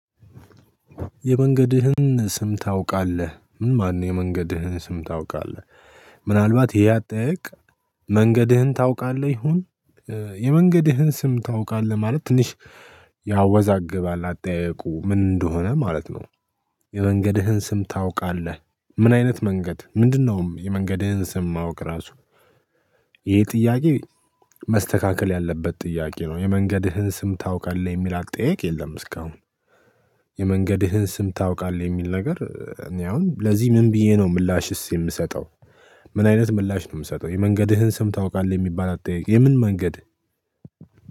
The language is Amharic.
የመንገድህን ስም ታውቃለህ ምን ማን ነው የመንገድህን ስም ታውቃለህ? ምናልባት ይሄ አጠያየቅ መንገድህን ታውቃለህ ይሁን። የመንገድህን ስም ታውቃለህ ማለት ትንሽ ያወዛግባል አጠያየቁ ምን እንደሆነ ማለት ነው። የመንገድህን ስም ታውቃለህ? ምን አይነት መንገድ ምንድነውም የመንገድህን ስም ማወቅ ራሱ። ይሄ ጥያቄ መስተካከል ያለበት ጥያቄ ነው። የመንገድህን ስም ታውቃለህ የሚል አቅጣይ የለም እስካሁን። የመንገድህን ስም ታውቃለህ የሚል ነገር እኔ አሁን ለዚህ ምን ብዬ ነው ምላሽስ የምሰጠው። ምን አይነት ምላሽ ነው የምሰጠው የመንገድህን ስም ታውቃለህ የሚባል አጠያየቅ የምን መንገድ።